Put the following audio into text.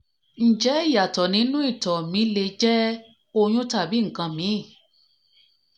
ǹjẹ́ ìyàtọ̀ nínú ìtọ̀ mi le mi le jẹ́ oyún tàbí nǹkan míìn?